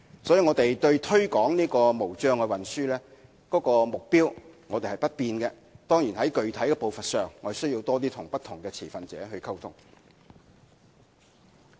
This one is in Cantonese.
所以，我們對推廣無障礙運輸的目標沒有改變；當然，在具體實施步伐上，我們要多與不同持份者溝通。